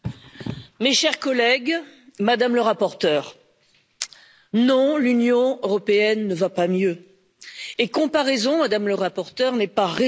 Mes chers collègues, Madame la Rapporteure, non, l'Union européenne ne va pas mieux et comparaison, Madame la Rapporteure, n'est pas raison.